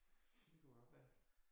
Det kunne godt være